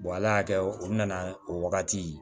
ala y'a kɛ u nana o wagati